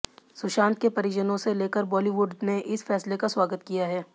सुशांत के परिजनों से लेकर बॉलीवुड ने इस फैसले का स्वागत किया है